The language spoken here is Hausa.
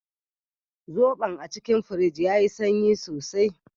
Zobon a cikin firij yayi sanyi sosai.